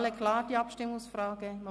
Ist die Abstimmungsfrage für alle klar?